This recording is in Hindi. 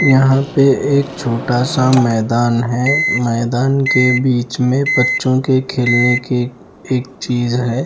यहां पे एक छोटा सा मैदान है मैदान के बीच में बच्चों के खेलने की एक चीज है।